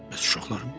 Bəs uşaqlarım?